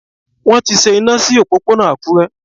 Wón ti ṣe iná sí òpópónà Àkúré.